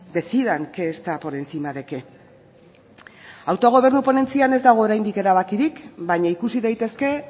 decidan qué está por encima de qué autogobernu ponentzian ez dago oraindik erabakirik baina ikusi daitezke